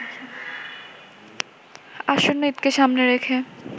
আসন্ন ঈদকে সামনে রেখে